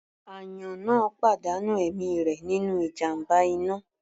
Àyàn náà pàdánù ẹ̀mí rẹ̀ nínú ìjàmbá iná.